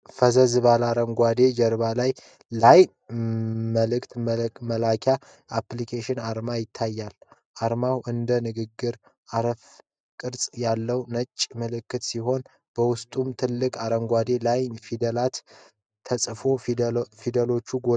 ፈዘዝ ባለ አረንጓዴ ጀርባ ላይ የLINE መልዕክት መላላኪያ አፕሊኬሽን አርማ ይታያል። አርማው እንደ ንግግር አረፋ ቅርጽ ያለው ነጭ ምልክት ሲሆን፣ በውስጡም ትላልቅ አረንጓዴ የ"LINE" ፊደላት ተጽፈዋል። ፊደሎቹ ጎልተው አሉ።